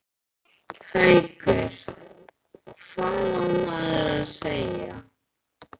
Haukur: Hvað á maður þá að segja?